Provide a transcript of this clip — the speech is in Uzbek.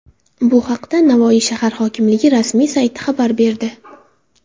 Bu haqda Navoiy shahar hokimligi rasmiy sayti xabar berdi .